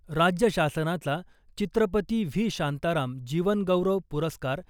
राज्य शासनाचा चित्रपती व्ही शांताराम जीवनगौरव पुरस्कार